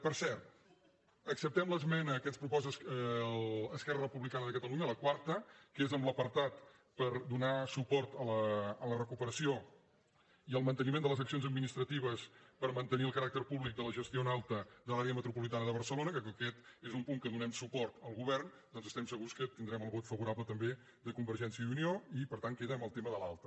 per cert acceptem l’esmena que ens proposa esquerra republicana de catalunya la quarta que és en l’apartat per donar suport a la recuperació i al manteniment de les accions administratives per mantenir el caràcter públic de la gestió en alta de l’àrea metropolitana de barcelona perquè com que aquest és un punt en què donem suport al govern doncs estem segurs que tindrem el vot favorable també de convergència i unió i per tant queda amb el tema de l’alta